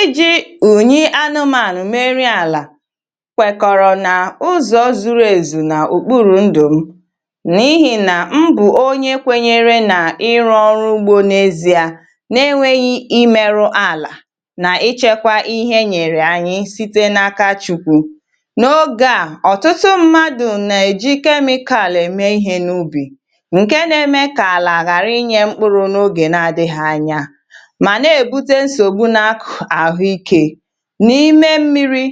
Ìji̇ ùnyi anụmanụ̀ meriri àlà kwèkọ̀rọ̀ nà ụzọ̀ zuru èzù nà òkpuru ndụ̀ m, nà ihì nà mbù, um onye kwènyere nà ịrụ̇ ọrụ ugbȯ n’ezìà n’enweghị imeru àlà nà ichekwa ihe nyèrè ànyị site n’aka Chukwu n’ogè a. Ọ̀tụtụ mmadụ̀ nà-èji kemikal àlà ème ihe n’ubì, ǹkè na-eme kà àlà àhàra inyė mkpụrụ̇ n’ogè na-adịghị̇ anya n’ime mmiri̇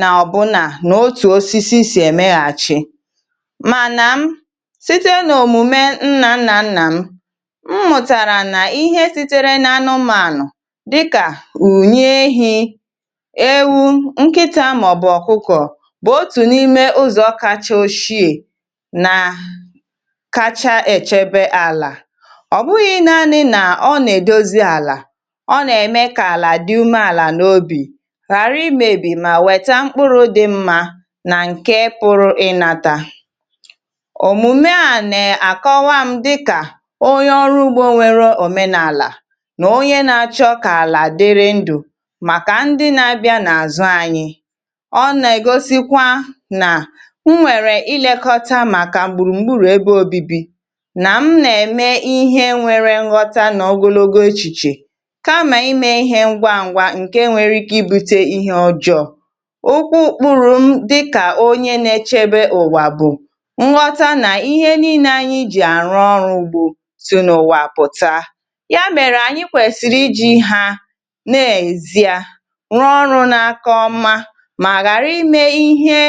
nà ọ̀bụnà n’otù osisi sì èmeghàchi, mànà m site nà òmùme nnà nnà nnà m, mùtàrà nà ihe sitere n’àrụmànụ̀ dịkà ùnyè, ewu, nkịtȧ, màọ̀bụ̀ ọ̀kụkọ̀ bụ̀ otù n’ime ụzọ̀ kacha oshiè nà kacha èchebe àlà. Ọ̀ bụghị̇ naanị̇ nà ọ nà-èdozi àlà ghàra imėbì, um mà wè̄tá mkpụrụ̇ dị̇ mmȧ nà ǹkè pụrụ ịnàta ǹkè nwere ike ibute ihe ọjọọ. Okwu kpụrụ̇m dịkà onye na-echebe ùwà bụ̀ nghọta nà ihe niile anyị jì àrụ̇ ọrụ̇ ugbȯ tụ̀ n’ụ̀wàpụ̀ta ya, mèrè ànyị kwèsìrì iji̇ hà nà èzìà rụọ̇ ọrụ̇ n’aka ọ̀mà mà ghàra ime ihe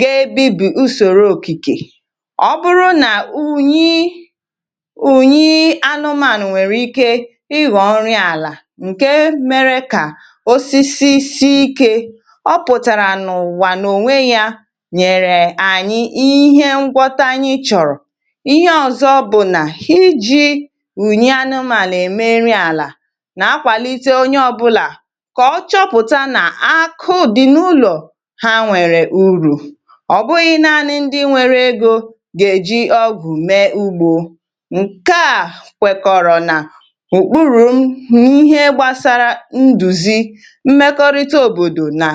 gēē bí bụ̀ ùsòrò òkìkè. Ọ bụrụ nà ùnyi anụmanụ̀ nwèrè ike ịgọ̀ọrị àlà, osisi si ikė ọpụ̀tàrà n’ụ̀wà n’ònwé yȧ, nyèrè ànyị ihe ngwọta. Ànyị chọ̀rọ̀ ihe ọ̀zọ, bụ̀ nà iji̇ ùnyi anụmàlà èmeri àlà, um nà akwàlite onye ọ̇bụ̇là kà ọ chọpụ̀tà nà akụ̀dị̀ n’ụlọ̀ ha nwèrè urù. Ọ̀ bụghị̇ naanị ndị nwėrė egȯ gà-èji̇ ọgụ̀ mee ugbȯ ǹkè à kwekọ̀rọ̀ nà mmekọrịta òbòdò, nà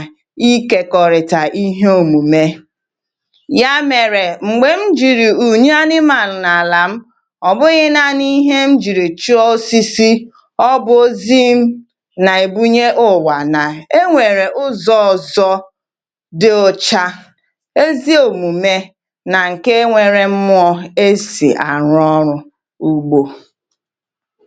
ịkèkọrịta ihe òmùme ya. Mèrè m̀gbè m jìrì ùnyi anụmànụ̀ n’àlà m, ọ̀ bụghị̇ naanị ihe m jìrì chi osisi, ọ bụ̀ ozi nà-èbunye ùwà nà enwèrè ụzọ̇ ọ̀zọ dị ọcha, ezi òmùme nà ǹkè um enwerè mmụọ̇ esì àrụ̇ ọrụ̇ ugbȯ.